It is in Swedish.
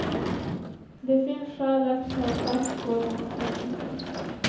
Det finns skäl att ta fasta på den kritiken.